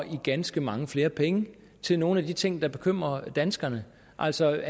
i ganske mange flere penge til nogle af de ting der bekymrer danskerne altså